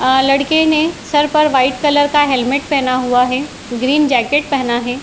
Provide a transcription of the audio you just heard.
आ लड़के ने सर पर व्हाइट कलर का हेलमेट पहना हुआ है। ग्रीन जॅकेट पहना है।